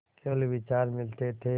केवल विचार मिलते थे